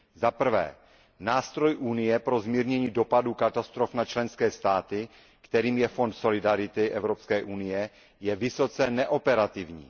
Zaprvé, nástroj Unie pro zmírnění dopadů katastrof na členské státy, kterým je fond solidarity Evropské unie, je vysoce neoperativní.